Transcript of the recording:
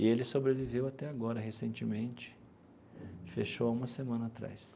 E ele sobreviveu até agora, recentemente, fechou há uma semana atrás.